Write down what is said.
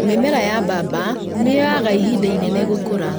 Mĩmera ya bamba nĩyoaga ihinda inene gũkũra